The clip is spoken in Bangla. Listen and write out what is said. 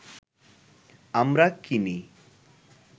আমরা কিনি